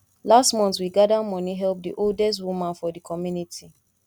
last month we gada moni help di oldest woman for di community